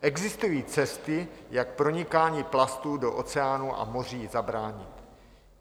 Existují cesty, jak pronikání plastů do oceánů a moří zabránit.